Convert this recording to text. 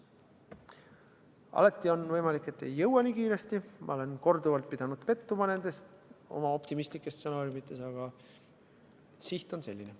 Alati on võimalik, et ei jõua nii kiiresti – ma olen korduvalt pidanud pettuma oma optimistlikes stsenaariumides –, aga siht on selline.